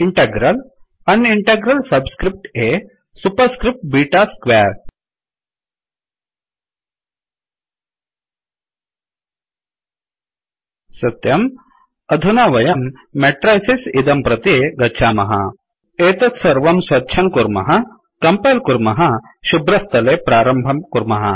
इण्टग्रल्अन् integral subscript a superscript beta square सत्यं अधुना वयं मेट्रैसिस् इदं प्रति गच्छामः एतत् सर्वं स्वच्छं कुर्मः कम्पैल् कुर्मः शुभ्रस्थले प्रारम्भं कुर्मः